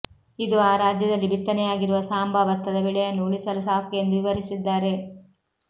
ಇದು ಆ ರಾಜ್ಯದಲ್ಲಿ ಬಿತ್ತನೆಯಾಗಿರುವ ಸಾಂಬಾ ಭತ್ತದ ಬೆಳೆಯನ್ನು ಉಳಿಸಲು ಸಾಕು ಎಂದು ವಿವರಿಸಿದ್ದಾರೆ